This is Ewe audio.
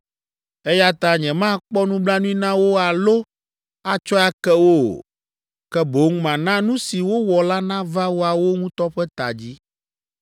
Eya ta nyemakpɔ nublanui na wo alo atsɔe ake wo o, ke boŋ mana nu si wowɔ la nava woawo ŋutɔ ƒe ta dzi.”